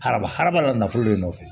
Haraba harama nafolo de nɔfɛ